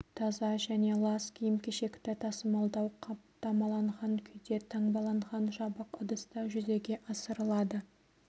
таза және лас киім-кешекті тасымалдау қаптамаланған күйде таңбаланған жабық ыдыста жүзеге асырылады